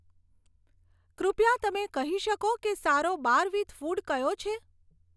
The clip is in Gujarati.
કૃપયા તમે કહી શકો કે સારો બાર વિથ ફૂડ કયો છે